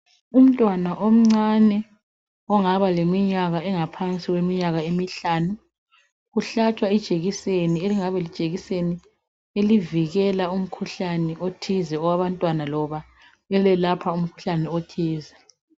Umntwana omncane ongaba leminyaka engaphansi kweminyaka emihlanu uhlatshwa ijekiseni elivikela umkhuhlane othize owabantwana loba elelapha umkhuhlane.